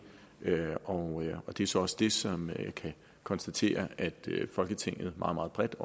og det er så også det som vi kan konstatere at folketinget meget meget bredt